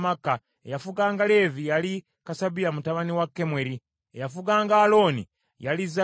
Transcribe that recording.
eyafuganga Leevi yali Kasabiya mutabani wa Kemweri; eyafuganga Alooni yali Zadooki;